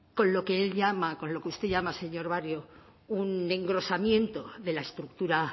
con lo que él llama con lo que usted llama señor barrio un engrosamiento de la estructura